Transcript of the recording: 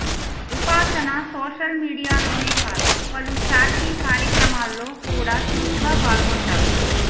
ఉపాసన సోషల్ మీడియాలోనే కాదు పలు చారిటి కార్యక్రమాల్లో కూడా చురుకుగా పాల్గొంటారు